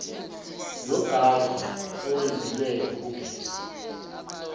nobhavu owenzelwe ukugeza